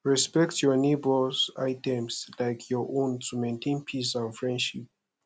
respect your neighbors items like your own to maintain peace and friendship